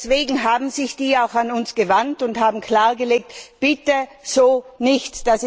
Deswegen haben sich diese auch an uns gewandt und haben klargelegt Bitte so nicht!